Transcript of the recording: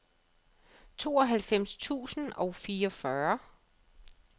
tooghalvfems tusind og fireogfyrre